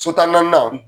So tan ni naani